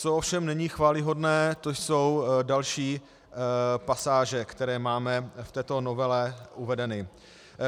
Co ovšem není chvályhodné, to jsou další pasáže, které máme v této novele uvedeny.